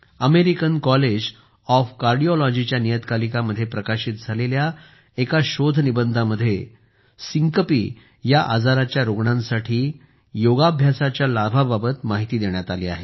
American College of कार्डिओलॉजीच्या नियतकालिकामध्ये प्रकाशित झालेल्या एका शोधनिबंधामध्ये syncopeसिंकपी या आजाराच्या रुग्णांसाठी योगाभ्यासाच्या लाभाबाबत माहिती देण्यात आली आहे